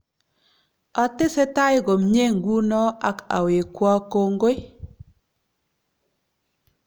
Atesetai komye nguno ak awekwok kongoi